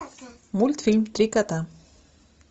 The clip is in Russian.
мультфильм три кота